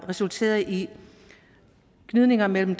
resulteret i gnidninger mellem